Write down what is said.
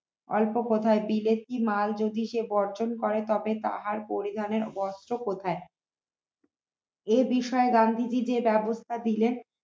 অল্প কথায় বিলেতি মাল যদি সে বর্জন করে তবে তাহার পরিমাণে বস্ত্র কোথায় এ বিষয়ে গান্ধীজী যে ব্যবস্থা দিলেন